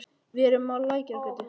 Við erum á Lækjargötu.